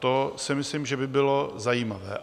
To si myslím, že by bylo zajímavé.